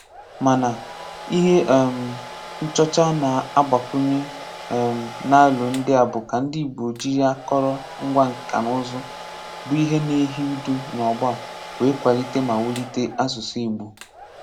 Mana, ihe um nchọ̀cha a na-agbakwùnye um n’álo ndị a bụ́ ka ndị Ìgbò jiri àkòrò um ngwa nka na ùzù́, bụ́ ihe na-éhì ùdù n’ọgbọ̀ a wee kwalite ma wulite asụ̀sụ́ Ìgbò.